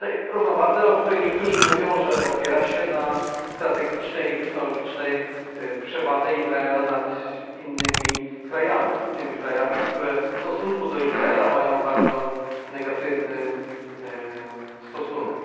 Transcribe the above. Równowadze, o której niektórzy mówią, że opiera się na strategicznej i technologicznej przewadze Izraela nad innymi krajami, tymi krajami, które do Izraela mają bardzo negatywny stosunek.